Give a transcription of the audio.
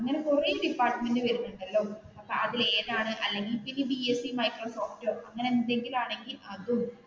അങ്ങനെ കുറെ ഡിപ്പാർമെന്റുകൾ വരുന്നുണ്ടല്ലോ അതിൽ ഏതാണ് അല്ലെങ്കിൽ പിന്നെ ബി എസ് സി മൈക്രോസോഫ്റ്റോ അങ്ങനെ എന്തെകിലും ആണെങ്കിൽ അതും